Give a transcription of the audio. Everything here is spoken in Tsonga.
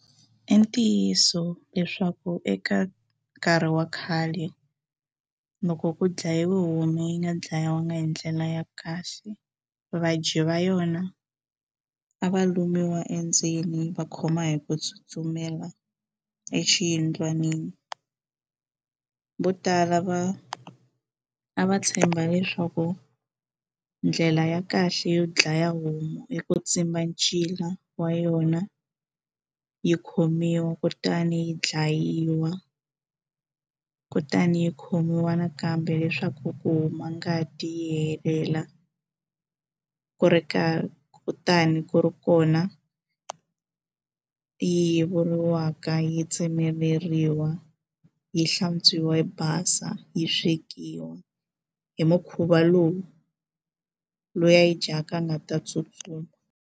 I ntiyiso leswaku eka nkarhi wa khale loko ku dlayiwa homu yi nga ndlayiwangi hi ndlela ya kahle vadyi va yona a va lumiwa endzeni va khoma hi ku tsutsumela exiyindlwanini vo tala va a va tshemba leswaku ndlela ya kahle yo dlaya homu hi ku tsimba ncila wa yona yi khomiwa kutani yi dlayiwa kutani yi khomiwa nakambe leswaku ku huma ngati yi helela ku ri karhi kutani ku ri kona yi yevuriwaka yi tsemeleriwa yi hlantswiwa yi basa yi swekiwa hi mukhuva lowu loyi a yi dyaka a nga ta tsutsuma.